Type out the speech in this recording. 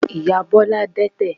Ìyá Bọ́lá dẹ́tẹ̀.